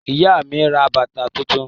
Ìyá mi ra bàtà tuntun.